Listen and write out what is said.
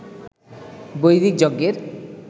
বৈদিক যজ্ঞের